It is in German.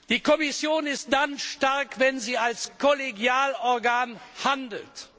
Die Kommission ist dann stark, wenn sie als Kollegialorgan handelt.